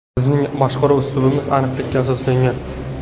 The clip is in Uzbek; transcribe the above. Bizning boshqaruv uslubimiz aniqlikka asoslangan.